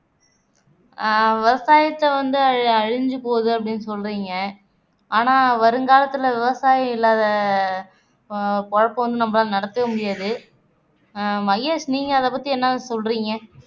ஆஹ் விவசாயத்தை வந்து அழி அழிஞ்சு போகுது அப்படின்னு சொல்றீங்க ஆனா வருங்காலத்துல விவசாயம் இல்லாத பொழப்பு வந்து நம்மளால நடத்தவே முடியாது ஆஹ் மகேஷ் நீங்க அதைப் பத்தி என்ன சொல்றீங்க